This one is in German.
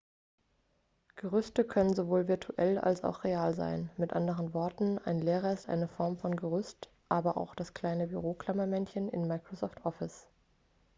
gerüste können sowohl virtuell als auch real sein mit anderen worten ein lehrer ist eine form von gerüst aber auch das kleine büroklammermännchen in microsoft office